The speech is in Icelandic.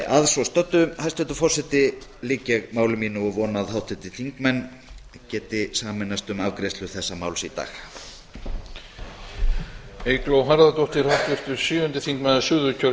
að svo stöddu hæstvirtur forseti lýk ég máli mínu og vona að háttvirtir þingmenn geti sameinast um afgreiðslu þessa máls í dag